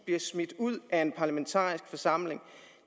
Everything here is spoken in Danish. bliver smidt ud af en parlamentarisk forsamling